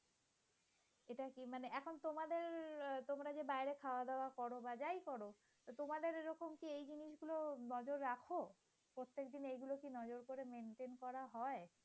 তোমরা যে বাইরে খাওয়া দাওয়া কর বা যাই করো। তোমাদের তোমরা কি এই জিনিসগুলো নজর রাখো। প্রত্যেকদিন এগুলা কে নজর করে maintain করা হয়?